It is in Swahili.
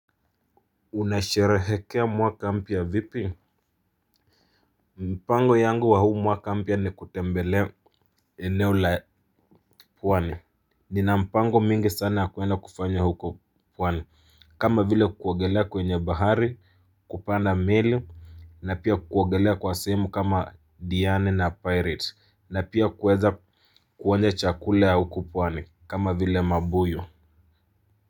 Unasherehekea mwaka mpya vipi. Mpango yangu wa huu mwaka mpya ni kutembelea eneo la pwani. Nina mpango mingi sana kuenda kufanya huko pwani kama vile kuogelea kwenye bahari kupanda meli na pia kuogelea kwa sehemu kama diani na pirate na pia kuweza kuonja chakula ya huko pwani kama vile mabuyu Muzika.